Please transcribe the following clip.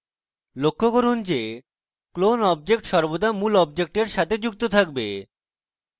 লক্ষ্য করুন যে ক্লোন object সর্বদা মূল অবজেক্টের সাথে যুক্ত থাকবে